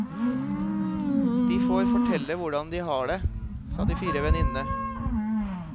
De får fortelle hvordan de har det, sa de fire venninnene.